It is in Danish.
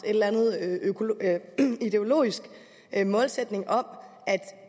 en ideologisk målsætning om at